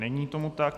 Není tomu tak.